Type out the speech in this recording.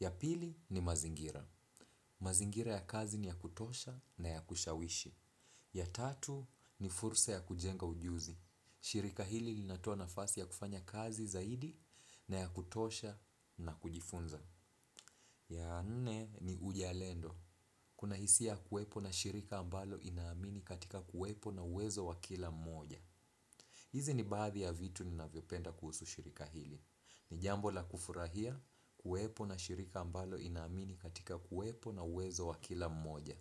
Ya pili ni mazingira. Mazingira ya kazi ni ya kutosha na ya kushawishi. Ya tatu ni fursa ya kujenga ujuzi. Shirika hili linatoa nafasi ya kufanya kazi zaidi na ya kutosha na kujifunza. Ya nne ni uzalendo. Kuna hisia kuwepo na shirika ambalo inaamini katika kuwepo na wezo wa kila mmoja. Hizi ni baadhi ya vitu ninavyopenda kuhusu shirika hili jambo la kufurahia kuwepo na shirika ambalo inaamini katika kuwepo na uwezo wa kila mmoja.